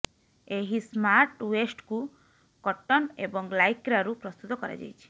ଏହି ସ୍ମାର୍ଟ ୱେଷ୍ଟକୁ କଟନ ଏବଂ ଲାଇକ୍ରାରୁ ପ୍ରସ୍ତୁତ କରାଯାଇଛି